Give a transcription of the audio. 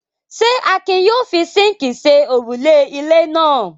Ṣé Akin yóò fi síńkì ṣe òrùlé ilé náà?